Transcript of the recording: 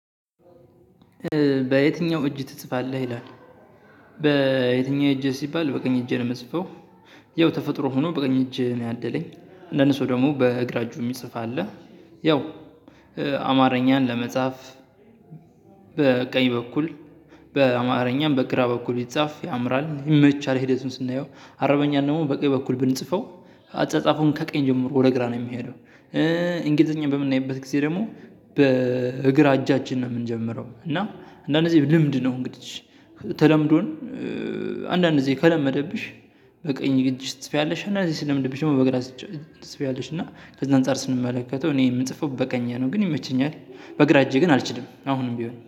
በየትኛው እጅ ትጽፋለህ ይላል? በየትኛው እጅ ሲባል በቀኝ እጄ ነው የምጽፈው ያው ተፈጥሮ ሆኖ በቀኝ እጄን ነው ያደለኝ አንዳንድ ሰው ደግም በግራ እጁ የሚፅፍ አለ። ያው አማረኛን ለመጻፍ በቀኝ በኩል በአማረኛም በግራ በኩል ቢጻፍ ያምራል ይመቻል። ሂደቱን ስናየው አረበኛን ደግሞ በቀኝ በኩል ብንጽፈው አጻጻፉን ከቀኝ ጀምሮ ወደ ግራ ነው የሚሄደው። እንግሊዘኛ በምናይበት ጊዜ ደግሞ በግራ አጃችን ነው የምንጀምረው እና አንዳንድ ጊዜ ልምድ ነው እንግዲህ። ተለምዶን አንዳንድ ጊዜ ከለመደብሽ በቀኝ እጂሽ ትፅፊያለሽ እና እዚህ ሲለምድብሽ ደግሞ በግራ አጅሽ ትፅፊያለሽ። እና ከዛ አንፃር ስንመለከተው እኔ የምጽፈው በቀኜ ነው ግን ይመቸኛል በእግራ እጄ ግን አልችልም። አሁንም ቢሆን